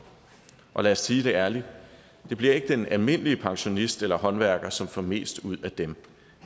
og lad os sige det ærligt det bliver ikke den almindelige pensionist eller håndværker som får mest ud af dem